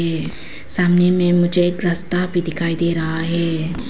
सामने में मुझे एक रास्ता भी दिखाई दे रहा है।